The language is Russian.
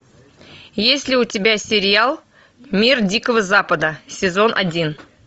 есть ли у тебя сериал мир дикого запада сезон один